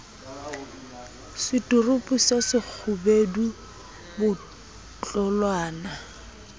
seturupu se se kgubedu botlolwana